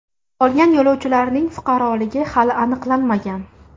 Qolgan yo‘lovchilarning fuqaroligi hali aniqlanmagan.